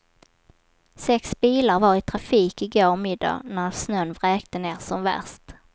Sex bilar var i trafik i går middag när snön vräkte ner som värst.